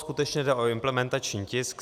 Skutečně jde o implementační tisk.